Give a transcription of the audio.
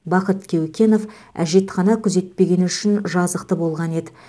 бақыт кеукенов әжетхана күзетпегені үшін жазықты болған еді